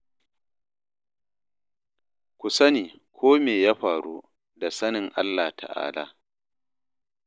Ku sani ko me ya faru da sanin Allah Ta'ala.